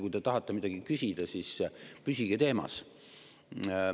Kui te tahate midagi küsida, siis püsige teemas.